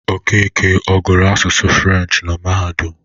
Okeke ọ gụrụ asụsụ Furenshị na mahadum?